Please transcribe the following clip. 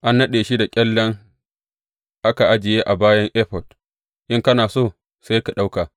An naɗe shi da ƙyallen aka ajiye a bayan Efod, in kana so, sai ka ɗauka.